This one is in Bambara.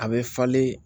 A bɛ falen